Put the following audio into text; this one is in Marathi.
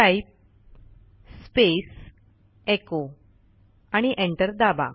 टाइप स्पेस echoआणि एंटर दाबा